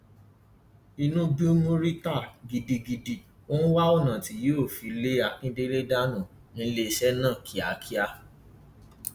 inú bí murità gidigidi ó ń wá ọnà tí yóò fi lé akíndélé dànù níléeṣẹ náà kíákíá